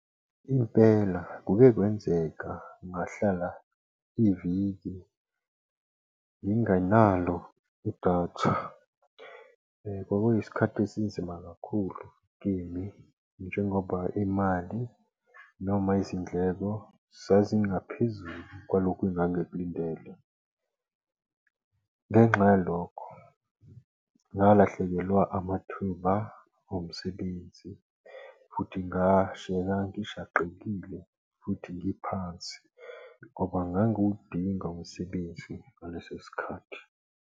Impela kuke kwenzeka ngahlala iviki ngingenalo idatha. kwakuyisikhathi esinzima kakhulu kimi njengoba imali noma izindleko zazingaphezu kwalokho engingangikulindele ngenxa yalokho, ngalahlekelwa amathuba omsebenzi futhi ngashiyeka ngishaqekile futhi ngiphansi, ngoba ngangiwudinga umsebenzi ngaleso sikhathi.